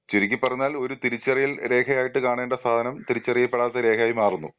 ചുരുക്കി പറഞ്ഞ ഒരു തിരിച്ചറിയൽ രേഖയായിട്ട് കാണേണ്ട സാധനം തിരിച്ചറിയ പെടാത്ത ഒരു രേഖയായി മാറുന്നു.